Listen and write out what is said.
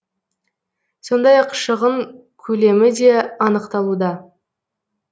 сондай ақ шығын көлемі де анықталуда